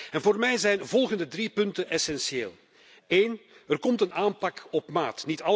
En voor mij zijn de volgende drie punten essentieel Eén, er komt een aanpak op maat.